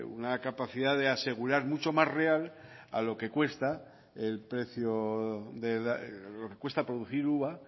una capacidad de asegurar mucho más real a lo que cuesta producir uva